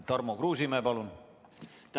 Tarmo Kruusimäe, palun!